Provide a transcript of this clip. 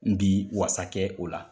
N bi wasa kɛ o la.